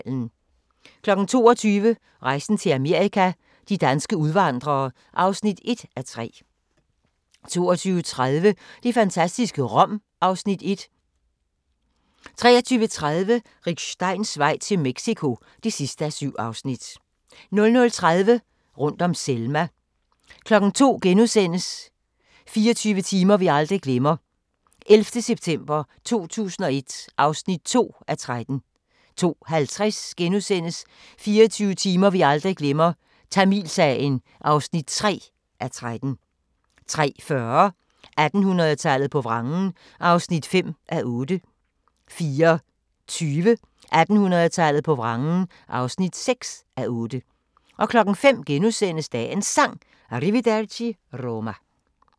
22:00: Rejsen til Amerika – de danske udvandrere (1:3) 22:30: Det fantastiske Rom (Afs. 1) 23:30: Rick Steins vej til Mexico (7:7) 00:30: Rundt om Selma 02:00: 24 timer vi aldrig glemmer – 11. september 2001 (2:13)* 02:50: 24 timer vi aldrig glemmer – Tamilsagen (3:13)* 03:40: 1800-tallet på vrangen (5:8) 04:20: 1800-tallet på vrangen (6:8) 05:00: Dagens Sang: Arrivederci Roma *